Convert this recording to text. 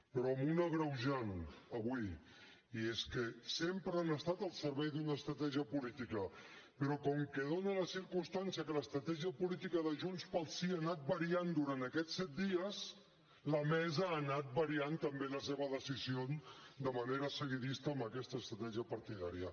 però amb un agreujant avui i és que sempre han estat al servei d’una estratègia política però com que es dóna la circumstància que l’estratègia política de junts pel sí ha anat variant durant aquests set dies la mesa ha anat variant també la seva decisió de manera seguidista amb aquesta estratègia partidària